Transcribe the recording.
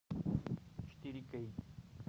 четыре кей